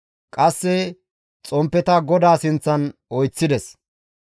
qasse xomppeta GODAA sinththan oyththides.